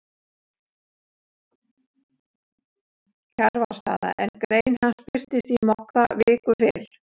Kjarvalsstaða, en grein hans birtist í Mogga viku fyrr